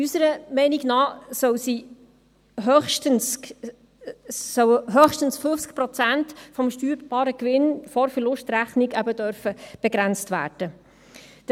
Unserer Meinung nach sollen höchstens 50 Prozent des steuerbaren Gewinns vor Verlustrechnung begrenzt werden dürfen.